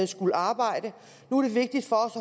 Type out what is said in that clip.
skulle arbejde nu er det vigtigt for